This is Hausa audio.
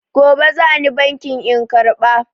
Gobe za ni bankin in karɓa.